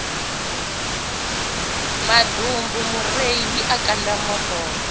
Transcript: maḓumbu mureiḽi a kanda moḓoro